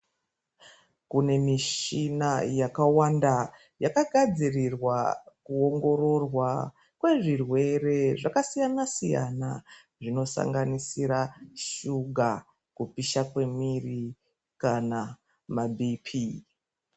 Kune michina yakawanda yakagadzirirwa kuongororwa kwezvirwere zvakasiyana siyana zvinosanganisira shuga, kupisha kwemiiri kana mabp.